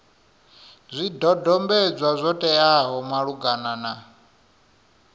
zwidodombedzwa zwo teaho malugana na